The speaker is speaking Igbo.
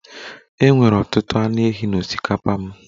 E nwere ọtụtụ anụ ehi na osikapa m.